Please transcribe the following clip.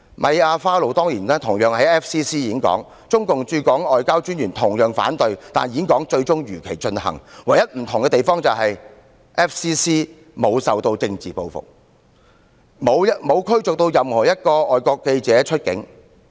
米亞花露當年同樣在外國記者會演說，特派員公署同樣反對，但演說最終如期進行，唯一不同之處是，外國記者會沒有受到政治報復，也沒有任何外國記者被逐出境。